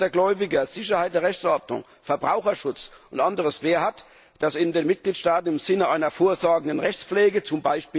B. Schutz der Gläubiger, Sicherheit der Rechtsordnung, Verbraucherschutz und anderes mehr, hat, die in den Mitgliedstaaten im Sinne einer vorsorgenden Rechtspflege, z.